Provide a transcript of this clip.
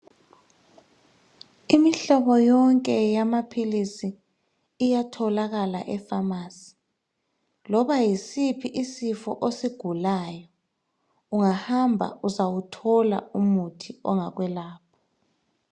Imihlobo yonke yamaphilisi iyatholakala epharmacy loba yisiphi isifo osigulayo ungahamba uzawuthola umuthi ongakwelapha.